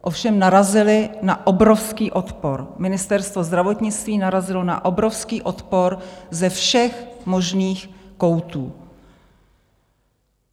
Ovšem narazili na obrovský odpor, Ministerstvo zdravotnictví narazilo na obrovský odpor ze všech možných koutů.